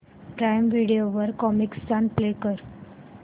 prime video वर Comicstaan play कर